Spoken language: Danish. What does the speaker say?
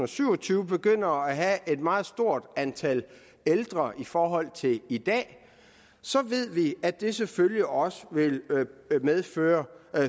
syv og tyve begynder at have et meget stort antal ældre i forhold til i dag ved vi at det selvfølgelig også vil medføre